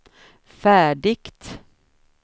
färdigt